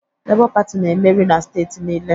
Labour Party na-emeri na steeti niile